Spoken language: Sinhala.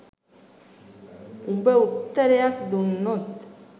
උබ උත්තරයක් දුන්නොත්